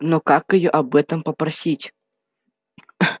но как её об этом попросить